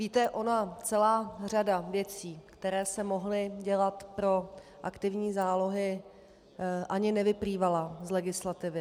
Víte, ona celá řada věcí, které se mohly dělat pro aktivní zálohy, ani nevyplývala z legislativy.